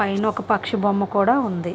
పైన ఒక పక్షి బొమ్మ కూడా ఉంది.